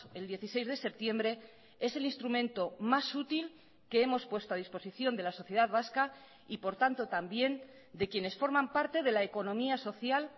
el dieciséis de septiembre es el instrumento más útil que hemos puesto a disposición de la sociedad vasca y por tanto también de quienes forman parte de la economía social